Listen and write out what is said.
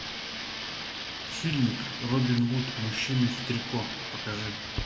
фильмик робин гуд мужчины в трико покажи